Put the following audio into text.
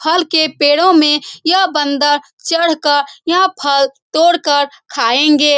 फल के पेड़ों में यह बंदर चढ़ कर यह फल तोड़ कर खायेंगे।